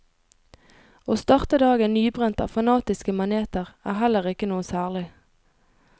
Å starte dagen nybrent av fanatiske maneter er heller ikke noe særlig.